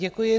Děkuji.